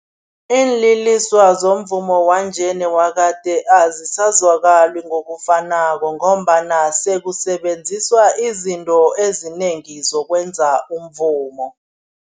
Iinliliswa zomvumo wanje newakade azisazwakali ngokufanako ngombana sekusebenziswa izinto ezinengi zokwenza umvumo.